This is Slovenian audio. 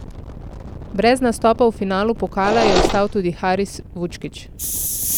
Brez nastopa v finalu pokala je ostal tudi Haris Vučkić.